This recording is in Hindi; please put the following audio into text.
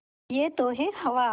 यह तो है हवा